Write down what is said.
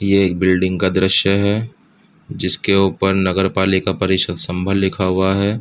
ये एक बिल्डिंग का दृश्‍य है जिसके ऊपर नगर पालिका परिषद् सम्भल लिखा हुआ है।